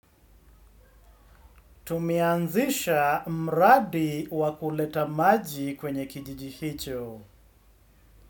Tumeanzisha mradi wa kuleta maji kwenye kijiji hicho.